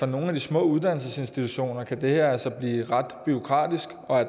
nogle af de små uddannelsesinstitutioner kan det her altså blive ret bureaukratisk